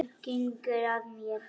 Gengur að mér.